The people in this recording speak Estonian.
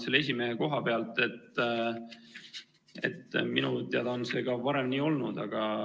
Selle esimehe koha pealt ütlen, et minu teada on see ka varem nii olnud.